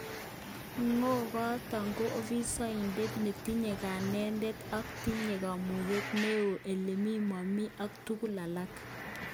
Ngo'goton ko ofisoindet netinye kanetet ako tinye kamuget ne noe elemi bomit ak tuguk alak.